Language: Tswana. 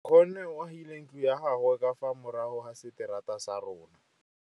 Nkgonne o agile ntlo ya gagwe ka fa morago ga seterata sa rona.